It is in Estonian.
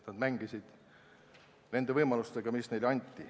Nad mängisid nende võimaluste piires, mis neile anti.